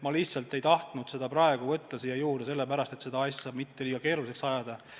Ma lihtsalt ei tahtnud seda praegu käsile võtta sellepärast, et protsessi mitte liiga keeruliseks ajada.